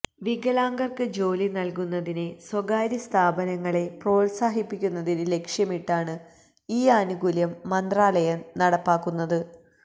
വികലാംഗർക്ക് ജോലി നൽകുന്നതിന് സ്വകാര്യ സ്ഥാപനങ്ങളെ പ്രോത്സാഹിപ്പിക്കുന്നതിന് ലക്ഷ്യമിട്ടാണ് ഈ ആനുകൂല്യം മന്ത്രാലയം നടപ്പാക്കുന്നത്